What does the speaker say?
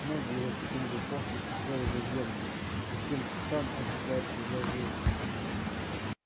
ноги его с таким же упорством цеплялись за землю с каким сам он цепляется за жизнь